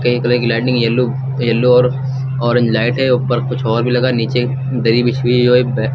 grey colour की lightning yellow yellow और orange light है ऊपर कुछ और भी लगा है नीचे दरी बिछी हुई है और एक